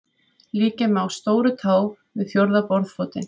Líkja má stórutá við fjórða borðfótinn.